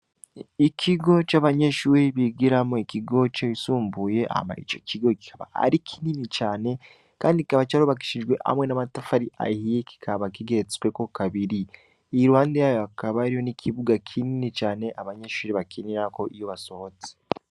ikigo c'abanyeshure bigiramwo ikigo cisumbuye Hama icokigo kikaba arikinini cane kikaba curubakishijwe amwe n'amatafari ahiye kikaba zigeretsweko kabiri iruhande yayo hakaba hariho n'ikibuga kinini cane abanyeshure bakiniriko iyo basohotse